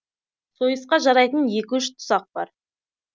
сойысқа жарайтын екі үш тұсақ бар